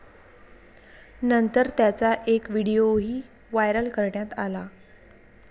नंतर त्याचा एक व्हिडीओही व्हायरल करण्यात आला.